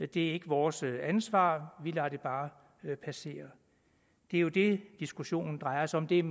det er ikke vores ansvar vi lader det bare passere det er jo det diskussionen drejer sig om det er